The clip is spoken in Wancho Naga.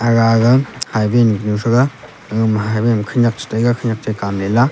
aga ga highway nu thaga aga ma highway ma khanak chetai ga khanak che kam le lah.